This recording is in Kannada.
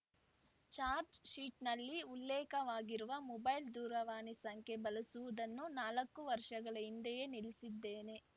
ಚಾರ್ಚ್ ಶೀಟ್‌ನಲ್ಲಿ ಉಲ್ಲೇಖವಾಗಿರುವ ಮೊಬೈಲ್‌ ದೂರವಾಣಿ ಸಂಖ್ಯೆ ಬಳಸುವುದನ್ನು ನಾಲ್ಕು ವರ್ಷಗಳ ಹಿಂದೆಯೇ ನಿಲ್ಲಿಸಿದ್ದೇನೆ